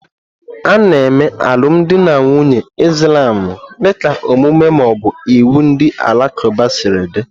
Ana eme alụmdi na nwunye Islamu dịka omume ma ọ bụ iwu ndị Alakụba siri dị.